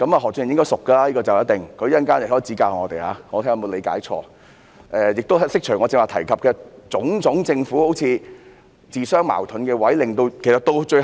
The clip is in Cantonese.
何俊賢議員對此一定熟悉，他稍後發言時可以指教我們，看看我有否理解錯誤，亦可以就我剛才提及政府種種自相矛盾的做法作出解說。